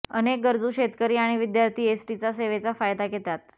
अनेक गरजू शेतकरी आणि विद्यार्थी एसटीचा सेवेचा फायदा घेतात